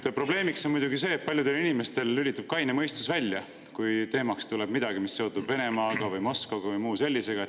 Probleem on muidugi see, et paljudel inimestel lülitub kaine mõistus välja, kui teemaks tuleb midagi, mis on seotud Venemaa või Moskva või muu sellisega.